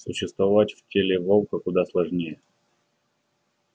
существовать в теле волка куда сложнее